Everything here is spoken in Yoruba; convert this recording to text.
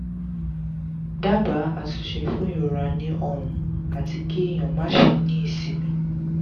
daba atunse fun irora ni ọrun ati ki eyan ma se ni isinmi